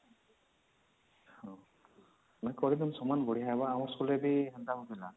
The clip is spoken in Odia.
ମୁଁ କହିଦଉଛି ସମାନ ବଢିଆ ହବା ଆମ school ରେ ବି